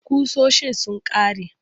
Ƙusoshin sun ƙare.